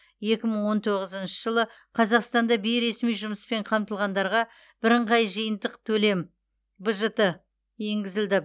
екі мың он тоғызыншы жылы қазақстанда бейресми жұмыспен қамтылғандарға бірыңғай жиынтық төлем бжт енгізілді